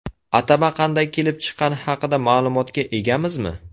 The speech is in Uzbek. Atama qanday kelib chiqqani haqida ma’lumotga egamizmi?